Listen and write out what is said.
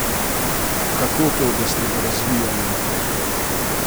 Kako to, da ste ga razvijali naprej?